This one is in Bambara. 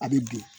A bɛ bin